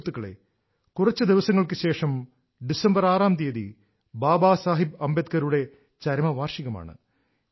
സുഹൃത്തുക്കളേ കുറച്ച് ദിവസങ്ങൾക്ക് ശേഷം ഡിസംബർ ആറാം തീയതി ബാബാ സാഹിബ് അംബേദ്കറുടെ ചരമ വാർഷികമാണ്